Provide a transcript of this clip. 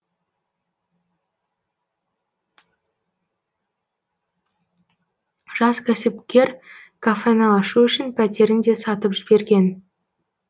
жас кәсіпкер кафені ашу үшін пәтерін де сатып жіберген